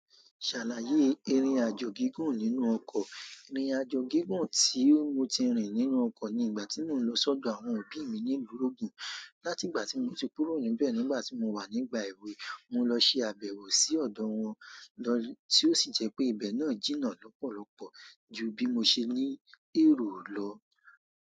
Ṣàlàyé irin àjò gígùn nínú ọkọ̀. Ni irinjò gígùn tí mo ti rìn nínú ọkọ̀ ni ìgbà tí mò ń lọ sọ́dọ̀ àwọn òbí mi ní ìlú ògùn. Látìgbà tí mo ti kúrò níbẹ̀ nígbà tí mo wà nígbà èwe, mo lọ ṣe àbẹ̀wò sí ọ̀dọ̀ wọn, lọ tí ó sì jẹ́ pé ibẹ̀ náà jìnnà lọ́pọ̀lọ́pọ̀ ju bí mo ṣe ní èrò lọ.